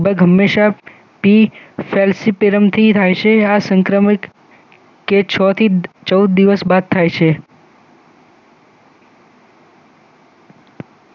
હમેશા પી સેલ્ફીતીરમથી થાય છે આ સંક્રમિક કે છ થી ચૌદ દિવસ બાદ થાય છે